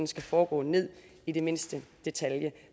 skal foregå ned i mindste detalje